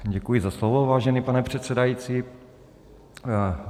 Děkuji za slovo, vážený pane předsedající.